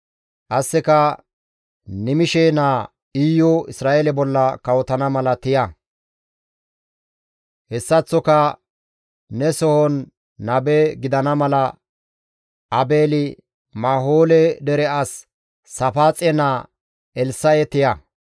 Qasseka Nimishe naa Iyu Isra7eele bolla kawotana mala tiya. Hessaththoka ne sohon nabe gidana mala Aabeeli-Mahoole dere as Saafaaxe naa Elssa7e tiya.